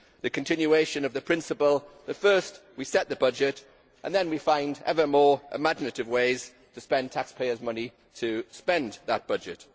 The continuation of the principle that first we set the budget and then we find ever more imaginative ways to spend taxpayers' money and to spend that budget.